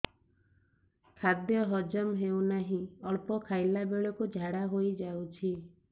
ଖାଦ୍ୟ ହଜମ ହେଉ ନାହିଁ ଅଳ୍ପ ଖାଇଲା ବେଳକୁ ଝାଡ଼ା ହୋଇଯାଉଛି